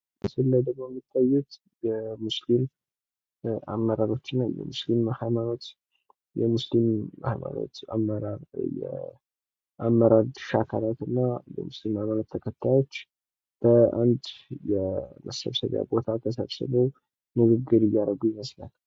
ምስል ላይ የሚታዩት የሙስሊም አመራሮችና የሙስሊም ሀይማኖት አመራር ና የሙስሊም ሀይማኖት ተከታዮች በአንድ የመሰብሰቢያ ቦታ ተሰብስበው ንግግር እያደረጉ ይመስላል።